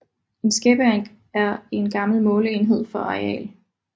En skæppe er en gammel måleenhed for areal